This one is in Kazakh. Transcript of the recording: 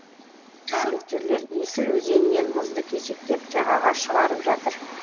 қызметкерлер есіл өзенінен мұзды кесектеп жағаға шығарып жатыр